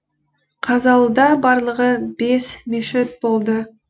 қазалыда барлығы бес мешіт болды